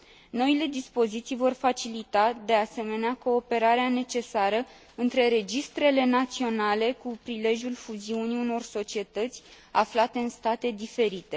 Noile dispoziții vor facilita, de asemenea, cooperarea necesară între registrele naționale cu prilejul fuziunii unor societăți aflate în state diferite.